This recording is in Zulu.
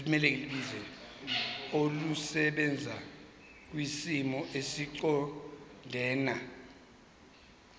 olusebenza kwisimo esiqondena